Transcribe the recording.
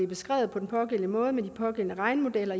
beskrevet på den pågældende måde med de pågældende regnemodeller